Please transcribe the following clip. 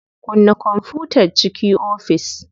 Kunna kwamfutan ciki ofis.